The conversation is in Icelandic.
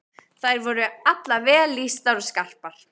Þær voru allar vel lýstar og skarpar.